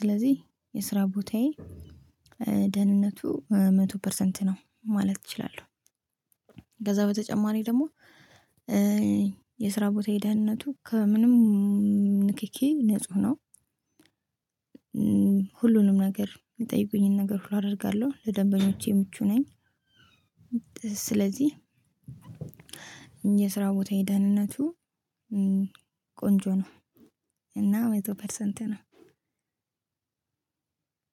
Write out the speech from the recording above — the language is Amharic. ስለዚህ የስራ ቦታዬ ደህንነቱ መቶ ፐርሰንት ነው ማለት እችላለሁ። ከዛ በተጨማሪ ደግሞ የስራ ቦታዬ ደህንነቱ ከምንም ንኪኪ ንጹህ ነው። ሁሉንም ነገር የሚጠይቁኝን ነገር ሁሉ አደርጋለሁ ለደንበኞቼ ምቹ ነኝ። ስለዚህ የስራ ቦታዬ ደህንነቱ ቆንጆ ነው። እና መቶ ፐርሰንት ነው።